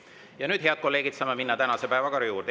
Ja nüüd, head kolleegid, saame minna tänase päevakorra juurde.